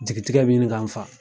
Jigitigɛ bɛ ɲini k'an faa.